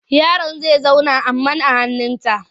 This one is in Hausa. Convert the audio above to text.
Yaron za zauna a man hannunta.